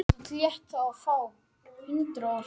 Gríðarlega sveiflukenndur þar sem Keflvíkingar byrjuðu betur.